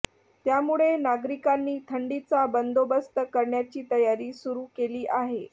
त्यामुळे नागरिकांनी थंडीचा बंदोबस्त करण्याची तयारी सुरू केली आहे